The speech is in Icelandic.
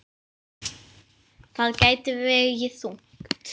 Það gæti vegið þungt.